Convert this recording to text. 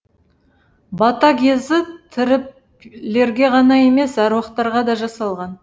бата кезі тірілерге ғана емес аруақтарға да жасалған